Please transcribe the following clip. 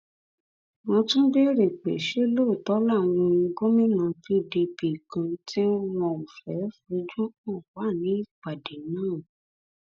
wọn tún béèrè pé ṣé lóòótọ làwọn gómìnà pdp kan tí wọn ò fẹẹ fojú hàn wà nípàdé náà